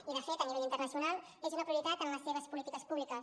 i de fet a nivell internacional és una de les prioritats en les seves polítiques públiques